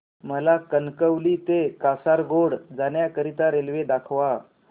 मला कणकवली ते कासारगोड जाण्या करीता रेल्वे दाखवा